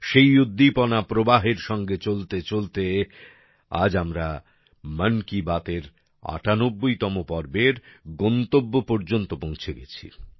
সেই উদ্দীপনাপ্রবাহের সঙ্গে চলতে চলতে আজ আমরা মন কি বাত এর ৯৮ তম পর্বের গন্তব্য পর্যন্ত পৌঁছে গেছি